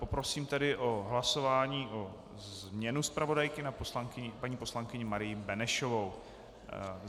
Poprosím tedy o hlasování na změnu zpravodajky na paní poslankyni Marii Benešovou.